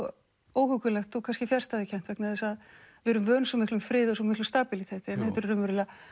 óhuggulegt og kannski fjarstæðukennt vegna þess að við erum vön svo miklum friði og svo miklu stabíliteti en þetta eru raunverulega